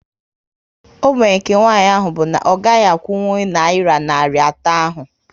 Ógbènye nke nwanyị ahụ bụ na ọ gaghị akwụnkwụ nayira narị atọ ahu